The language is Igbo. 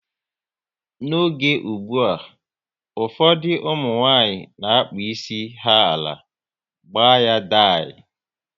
N'oge ụgbụa, ụfọdụ ụmụnwanyị na-akpụ isi ha ala, gbaa ya dai